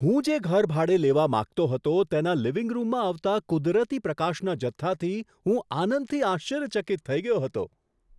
હું જે ઘર ભાડે લેવા માંગતો હતો તેના લિવિંગ રૂમમાં આવતા કુદરતી પ્રકાશના જથ્થાથી હું આનંદથી આશ્ચર્યચકિત થઈ ગયો હતો.